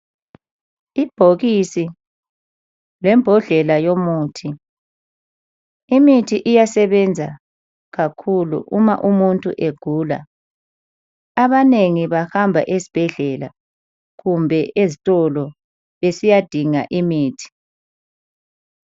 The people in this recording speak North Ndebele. Ibhokisi lembodlela yomuthi. Imithi iyasebenza kakhulu uma umuntu egula. Abanengi bahamba ezibhedlela kumbe ezitolo besiyadinga imithi.